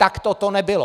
Takto to nebylo.